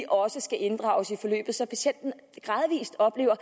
også skal inddrages i forløbet så patienten gradvist oplever